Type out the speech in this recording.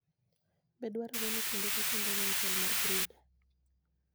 Be dwarore ni kinde ka kinde onon chal mar brooder?